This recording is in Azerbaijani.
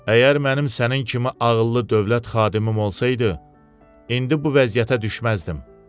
Əgər mənim sənin kimi ağıllı dövlət xadimim olsaydı, indi bu vəziyyətə düşməzdim.